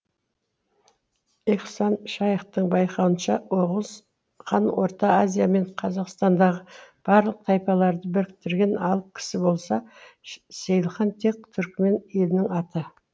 ихсан шаиқтың байқауынша оғыз хан орта азия мен қазақстандағы барлық тайпаларды біріктірген алып кісі болса сейілхан тек түрікмен елінің аты